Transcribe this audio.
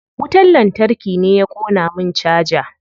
Wutar lantarki ne ya ƙona min caja.